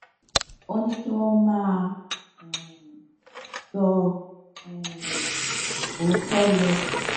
ó ní kí wọn máa um sọ um òótó lọ